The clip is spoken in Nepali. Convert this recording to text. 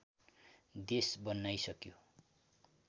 देश बनाइसक्यौँ